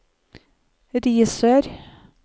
Risør